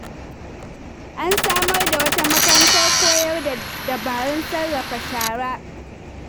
An samar da wata makarantar koyar da dabarun sarrafa shara.